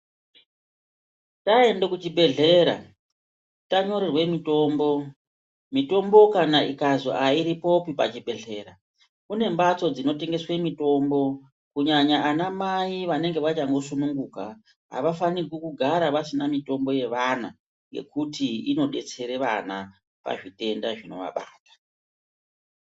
Taende kuzvibhedhlera tanyorerwe mitombo, mitombo ikazwi airipopi pachibhedhlera kune mabtso dzinotengeswe mitombo kunyanya anamai vanenge vachangosununguka avafanirwi kugara vasina mitombo yevana yekuti inodetsere vana pazvitenda zvinovabata.